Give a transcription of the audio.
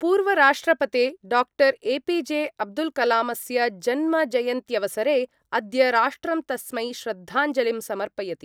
पूर्वराष्ट्रपते doctor APJ Abdul कलामस्य जन्मजयन्त्यवसरे अद्य राष्ट्रं तस्मै श्रद्धांजलिं समर्पयति।